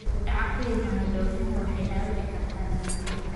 Dib u dhaca ku yimaada dhoofinta waxay dhaawici kartaa dalagyada.